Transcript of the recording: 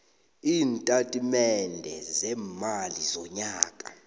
iintatimende zeemali zonyaka